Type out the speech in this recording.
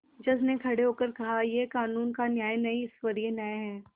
जज ने खड़े होकर कहायह कानून का न्याय नहीं ईश्वरीय न्याय है